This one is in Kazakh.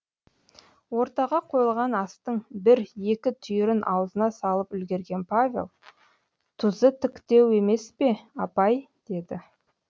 ортаға қойылған астың бір екі түйірін аузына салып үлгерген павел тұзы тіктеу емес пе апай деді